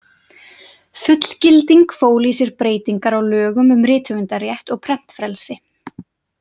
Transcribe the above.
Fullgilding fól í sér breytingar á lögum um rithöfundarétt og prentfrelsi.